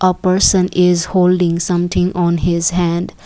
a person is holding something on his hand.